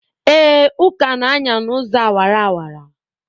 Ee, Uka na-anya n'ụzọ awara awara.